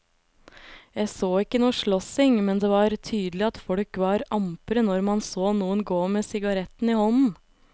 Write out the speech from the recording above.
Jeg så ikke noe slåssing, men det var tydelig at folk var ampre når man så noen gå med sigaretten i hånden.